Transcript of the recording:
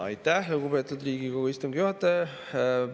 Aitäh, lugupeetud Riigikogu istungi juhataja!